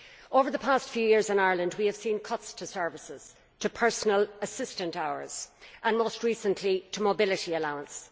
Over the past few years in Ireland we have seen cuts to services, to personal assistant hours, and most recently to mobility allowance.